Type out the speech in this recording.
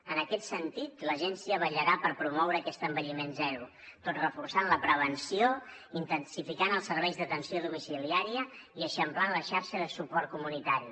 en aquest sentit l’agència vetllarà per promoure aquest envelliment zero tot reforçant la prevenció intensificant els serveis d’atenció domiciliària i eixamplant la xarxa de suport comunitari